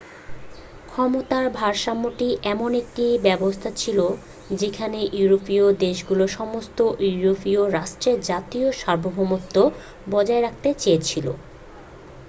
ক্ষমতার ভারসাম্যটি এমন একটি ব্যবস্থা ছিল যেখানে ইউরোপীয় দেশগুলো সমস্ত ইউরোপীয় রাষ্ট্রের জাতীয় সার্বভৌমত্ব বজায় রাখতে চেয়েছিল